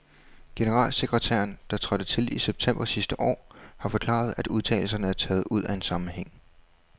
Generalsekretæren, der trådte til i september sidste år, har forklaret, at udtalelserne er taget ud af en sammenhæng.